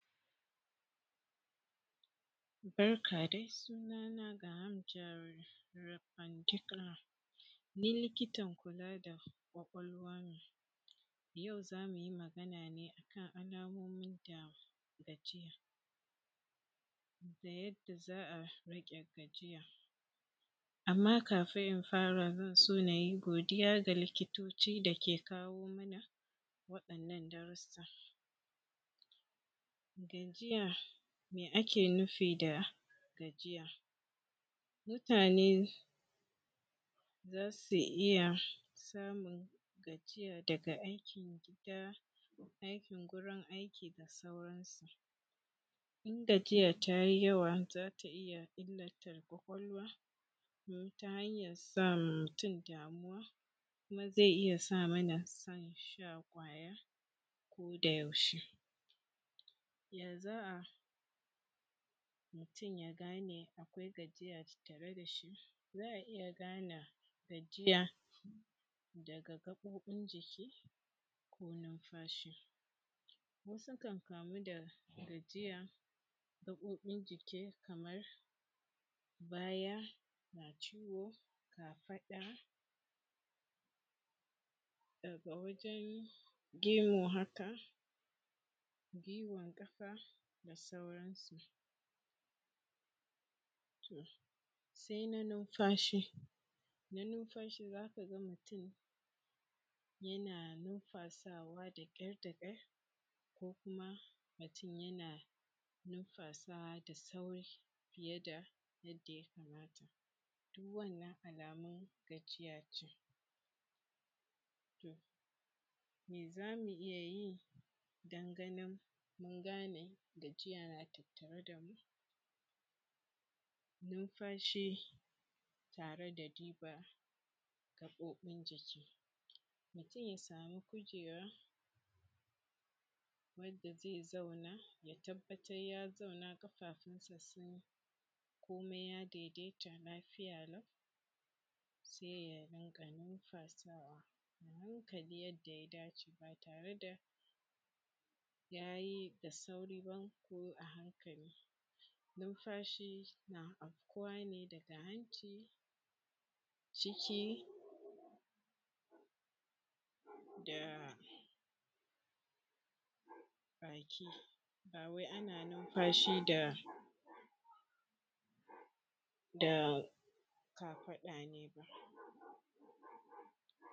barka dai suna na Greham Gerrod Repandickla ni likitan kula da kwakwalwa ne yau zamuyi magana ne akan alamomin da gajiya da yadda za a riƙe gajiya amman kafin na fara zan so ace nayi godiya ga likitoci da ke kawo mana waɗannan darussa gajiya me ake nufi da gajiya mutane zasu iya samun gajiya daga aikin gida aikin gurin aiki da sauran su in gajiya tayi yawa zata iya illata ƙwaƙwalwa don ta hanyar sama mutum damuwa kuma zai iya samana son shan ƙwaya koda yaushe ya za a mutum ya gane akwai gajiya tattare dashi za a iya gane gajiya daga gaɓoɓin jiki ko numfashi wasu kan kamu da gajiya ta gaɓoɓin jiki kamar baya na ciwo kafaɗa daga wajen gemu haka gwuiwar ƙafa da sauran su to sai na numfashi na numfashi zaka ga mutum yana numfasawa da ƙyar da ƙyar ko kuma mutum yana numfasawa da sauri fiye da yadda ya kamata duk wannan alamun gajiya ce to me zamu iya yi don mu gane gajiya na tattare da mu numfashi tare da diba gaɓoɓin jiki mutum ya samu kujera wanda zai zauna ya tabbatar ya zauna ƙafafunsa sun yi komai ya daidaita lafiya lau sai ya rinƙa numfasawa a hankali yadda ya dace ba tare da yayi da sauri ba ko a hankali numfashi na afkuwa ne daga hanci ciki da baki ba wai ana numfashi da kafaɗa ne ba